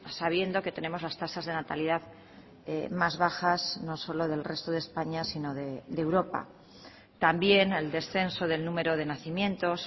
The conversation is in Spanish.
sabiendo que tenemos las tasas de natalidad más bajas no solo del resto de españa sino de europa también el descenso del número de nacimientos